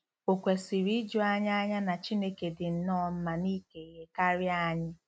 Ò kwesịrị iju anyị anya na Chineke dị nnọọ mma n'ike ihe karịa anyị?